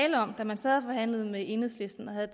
tale om da man sad og forhandlede med enhedslisten og havde